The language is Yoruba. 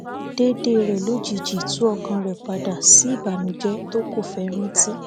déédé rẹ lójijì tú ọkàn rẹ padà sí ìbànújẹ tó kọ fẹ rántí